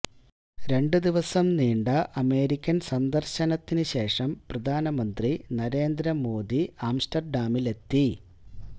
രണ്ടു ദിവസം നീണ്ട അമേരിക്കൻ സന്ദർശനത്തിനു ശേഷം പ്രധാനമന്ത്രി നരേന്ദ്ര മോഡി ആംസ്റ്റർഡാമിലെത്തി